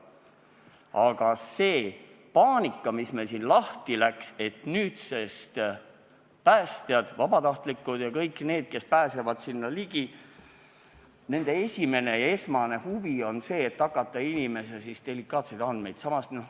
Aga meil läks lahti paanika, et nüüdsest päästjad, vabatahtlikud ja üldse kõik, kes pääsevad sinna ligi – nende esmane huvi on hakata inimeste delikaatseid andmeid kuidagi ära kasutama.